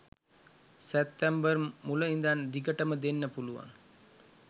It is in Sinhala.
සැප්තැම්බර් මුල ඉඳන් දිගටම දෙන්න පුලුවන්.